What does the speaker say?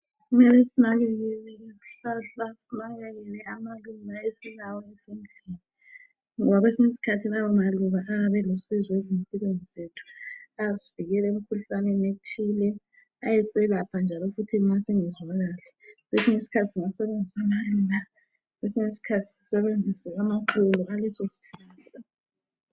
kumele sinakelele izihlahla sinakelele amaluba esilawo ezindlini ngoba kwesinye isikhathi lawa maluba ayabe olusizo ezimpilweni zethu ayasivikela emkhuhlaneni ethile ayaselapha masingezwa kahle kwesinye isikhathi ungasebenzisa amaluba kwesinye isikhathi usebenzise impandle yalawa maluba.